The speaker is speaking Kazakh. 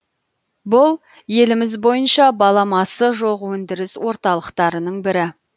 бұл еліміз бойынша баламасы жоқ өндіріс орталықтарының бірі